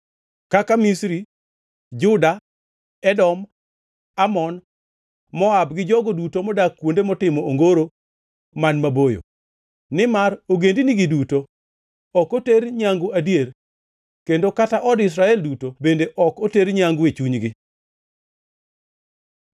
kaka Misri, Juda, Edom, Amon, Moab gi jogo duto modak kuonde motimo ongoro man maboyo. Nimar ogendinigi duto ok oter nyangu adier, kendo kata od Israel duto bende ok oter nyangu e chunygi.”